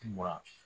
Mura